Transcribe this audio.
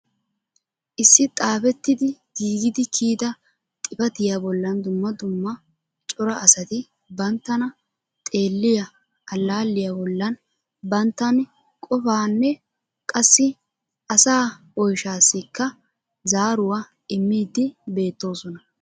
Issi xaafetidi giigidi kiyyida xifatiyaa bollan dumma dumma cora asati banttana xeelliyaa allaaliya bollan banttan qopanne qassi asaa oyshshassikka zaaruwaa immidi beettoosona.